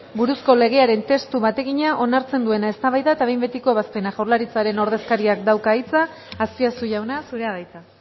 buruzko legearen testu bategina onartzen duena eztabaida eta behin betiko ebazpena jaurlaritzaren ordezkariak dauka hitza azpiazu jauna zurea da hitza